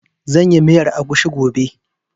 Zan yi miyar agushi gobe